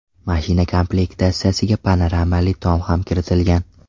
Mashina komplektatsiyasiga panoramali tom ham kiritilgan.